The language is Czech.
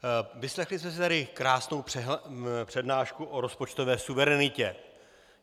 Vyslechli jsme si tady krásnou přednášku o rozpočtové suverenitě.